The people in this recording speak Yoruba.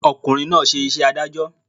Ọ̀kùnrin náà ṣe iṣẹ́ adájọ́